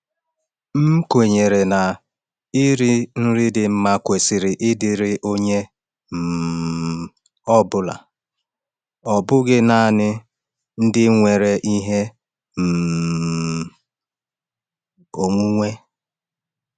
M kwenyere na iri nri dị mma kwesịrị ịdịrị onye um ọ bụla, ọ bụghị naanị ndị nwere ihe um onwunwe.